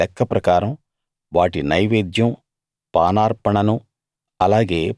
వాటి వాటి లెక్క ప్రకారం వాటి నైవేద్యం పానార్పణను